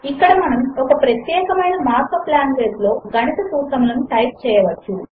ఇక్కడ మనము ఒక ప్రత్యేకమైన మార్క్ అప్ లాంగ్వేజ్ లో గణిత సూత్రములను టైప్ చేయవచ్చు